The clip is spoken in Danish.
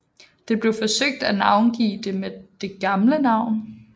Det blev forsøgt at navngive det med det gamle navn